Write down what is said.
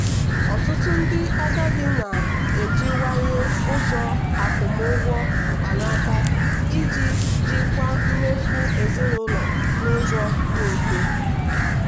ọtụtụ ndị agadi na-ejiwanye ụzọ akwụmụgwọ mkpanaka iji jikwaa mmefu ezinụlọ n'ụzọ dị mfe.